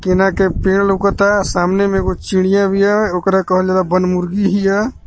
केना के पेड़ लउकता सामने में एगो चिड़िया बिया ओकरा कहल जाला बन मुर्गी हिया.